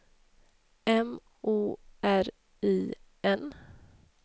M O R I N